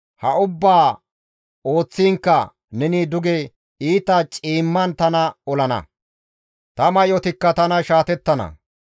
ha ubbaa ooththiinkka neni duge iita ciimman tana olana; ta may7otikka tana shaatettana.